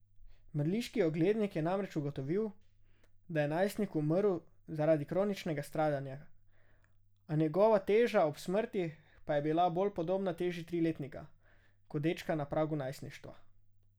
Mrliški oglednik je namreč ugotovil, da je najstnik umrl zaradi kroničnega stradanja, njegova teža ob smrti pa je bila bolj podobna teži triletnika, kot dečka na pragu najstništva.